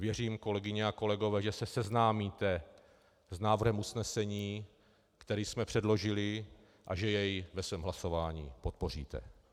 Věřím, kolegyně a kolegové, že se seznámíte s návrhem usnesení, který jsme předložili, a že jej ve svém hlasování podpoříte.